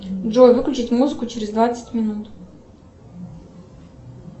джой выключить музыку через двадцать минут